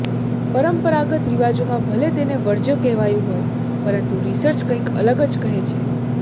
પરંપરાગત રીવાજોમાં ભલે તેને વર્જ્ય કહેવાયું હોય પરંતુ રીસર્ચ કંઈક અલગ જ કહે છે